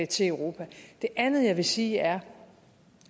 til europa det andet jeg vil sige er at